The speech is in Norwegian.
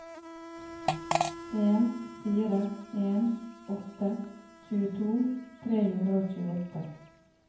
en fire en åtte tjueto tre hundre og tjueåtte